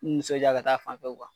N nisɔndiya ka taa a fan fɛ